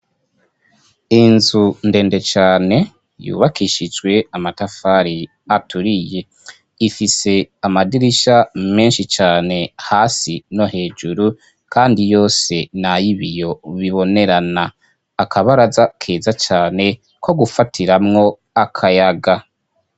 Inzu ndende cane yubakishijwe amatafari aturiye ifise amadirisha menshi cane hasi no hejuru kandi yose n'ayibiyo bibonerana akabaraza keza cane ko gufatiramwo akayaga.